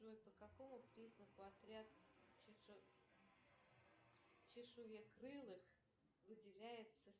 джой по какому признаку отряд чешуекрылых выделяется